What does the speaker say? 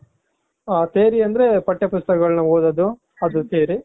theory ಅಂದ್ರೆ ಪಟ್ಯ ಪುಸ್ತಕಗಳನ್ನ ಓದೋದು ಅದು theory.